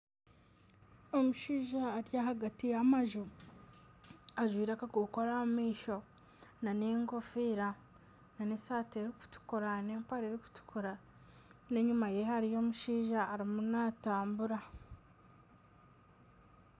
Omushaija ari ahagati y'amaju ,ajwaire akakokoro aha maisho nana enkofiira nana esaati erikutukura nana empare erikutukura nana enyuma ye hariyo omushaija ariyo natambura.